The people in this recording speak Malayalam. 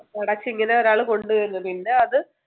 ഇങ്ങനെ ഒരാൾ കൊണ്ടുവരുന്നു. പിന്നെ അത്